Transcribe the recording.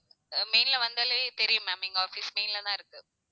main ல வந்தாலே தெரியும் ma'am எங்க office main ல தான் இருக்கு